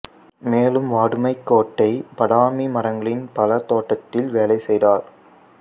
மேலும் வாதுமை கொட்டை பாதாமி மரங்களின் பழத்தோட்டத்தில் வேலை செய்தர்